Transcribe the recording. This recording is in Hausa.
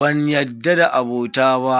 Banyarda da abota ba.